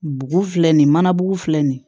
Bugu filɛ nin ye mana bugu filɛ nin ye